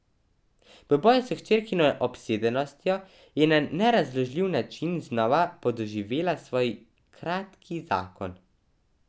V boju s hčerkino obsedenostjo je na nerazložljivi način znova podoživela svoj kratki zakon.